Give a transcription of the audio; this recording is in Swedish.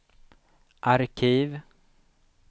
arkiv